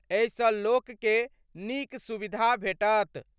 एहिसँ लोककें नीक सुविधा भेटत।